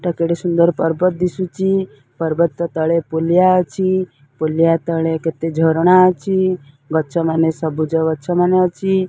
କେଡେ ସୁନ୍ଦର ପର୍ବତ ଦିଶୁଛି। ପର୍ବତ ତଳେ ପୁଲିଆ ଅଛି। ପୁଳିଆ ତଳେ କେତେ ଝରଣା ଅଛି। ଗଛ ମାନେ ସବୁଜ ଗଛ ମାନେ ଅଛି।